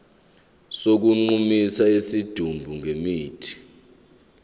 sokugqumisa isidumbu ngemithi